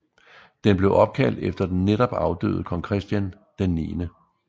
Den blev opkaldt efter den netop afdøde kong Christian 9